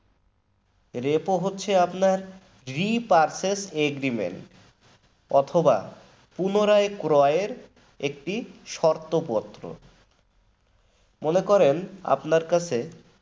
repo হচ্ছে আপনার re purchase agreement অথবা পুনরায় ক্রয়ের একটি শর্তপত্র মনে করেন আপনার কাছে